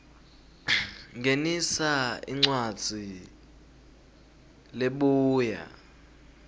ngenisa incwadzi lebuya